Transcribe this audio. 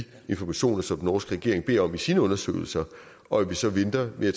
informationer som den norske regering beder om til sine undersøgelser og at vi så venter med at